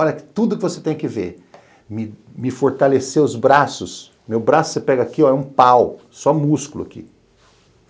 Olha, tudo que você tem que ver, me me fortalecer os braços, meu braço você pega aqui, ó, é um pau, só músculo aqui.